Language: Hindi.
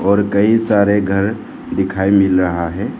और कई सारे घर दिखाई मिल रहा है।